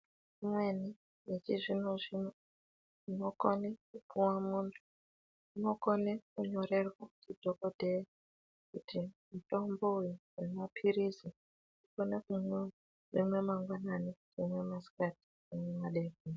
Imweni yechizvino zvino inokone kupuwa muntu, inokone kunyorerwa ndidhokodheya kuti mutombo uyu wemapirizi unomwiwa rimwe mangwanani rimwe masikati rimwe madekoni.